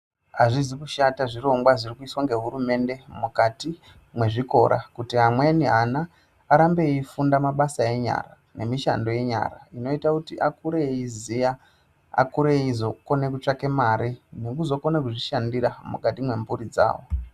Azvizi kushata zvirongwa zviri kuiswa ngehurumende mukati mwezvikora kuti amweni ana arambe eifunda mabasa enyara nemishando yenyara inoita kuti akure ayiziya, akure eyizokona kutsvake mare nekuzokona kuzvishandira mukati mwemhuri dzavo.